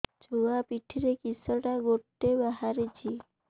ଛୁଆ ପିଠିରେ କିଶଟା ଗୋଟେ ବାହାରିଛି